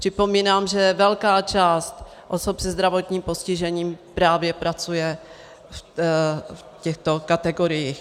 Připomínám, že velká část osob se zdravotním postižením právě pracuje v těchto kategoriích.